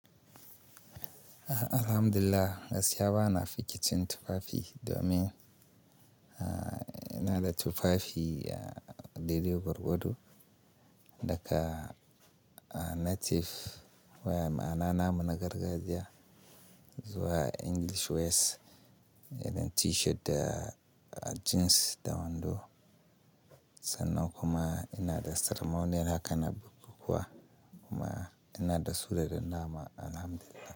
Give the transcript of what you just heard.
Alhamdulillah, gaskiya ba na fikicin tufafi domin, ah, ina da tufafi, ah, daidai gurgadu daga, ah, native waya ma'ana namu na gargajiya zuwa English wears irin T-shirt da, ah, jeans da wando. Sannan kuma ina da ceremonial haka na bukukkuwa kuma ina da su da dan nama Alhamdulillah.